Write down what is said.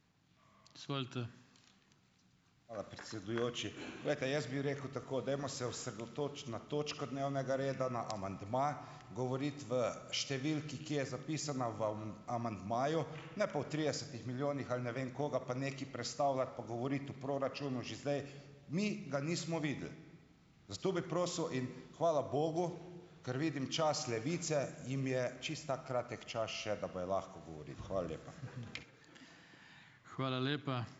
Hvala, predsedujoči. Glejte, jaz bi rekel tako. Dajmo se osredotočiti na točko dnevnega reda, na amandma, govoriti v številki, ki je zapisana amandmaju, ne pa o tridesetih milijonih ali ne vem koga, pa nekaj prestavljati, pa govoriti o proračunu že zdaj. Mi ga nismo videli. Zato bi prosil in hvala bogu, ker vidim čas Levice, jim je čisto tak kratek čas še, da bojo lahko govorili. Hvala lepa.